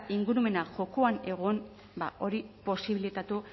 ingurumena jokoan egon ba hori posibilitatu